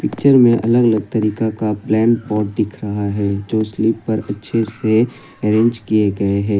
Picture में अलग अलग तरीका का प्लेन पॉट दिख रहा है जो स्लीप पर अच्छे से अरेंज किए गए हैं।